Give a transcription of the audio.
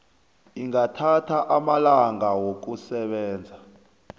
ingathatha amalanga wokusebenza